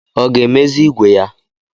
Ọ ga-emezi ìgwè ya?